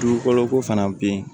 Dugukolo ko fana be yen